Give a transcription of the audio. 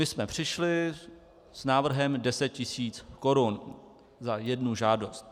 My jsme přišli s návrhem 10 tisíc korun za jednu žádost.